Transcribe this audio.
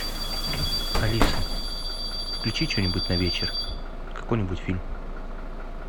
алиса включи что нибудь на вечер какой нибудь фильм